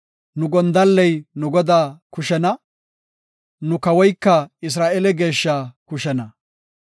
Nu gondalley nu Godaa kushena; nu kawoyka Isra7eele geeshshaa kushena.